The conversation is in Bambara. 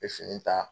N bɛ fini ta